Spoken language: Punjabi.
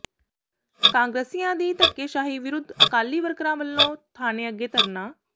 ਕਾਂਗਰਸੀਆਂ ਦੀ ਧੱਕੇਸ਼ਾਹੀ ਵਿਰੁੱਧ ਅਕਾਲੀ ਵਰਕਰਾਂ ਵੱਲੋਂ ਥਾਣੇ ਅੱਗੇ ਧਰਨਾ